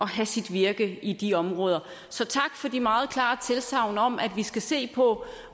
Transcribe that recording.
have sit virke i de områder så tak for de meget klare tilsagn om at vi skal se på